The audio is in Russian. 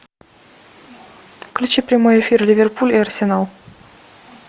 включи прямой эфир ливерпуль и арсенал